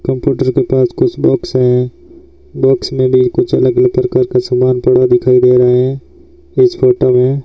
computer के पास कुछ बॉक्स हैं बॉक्स में भी कुछ अलग अलग प्रकार का सामान पड़ा दिखाई दे रहा है इस फोटो में --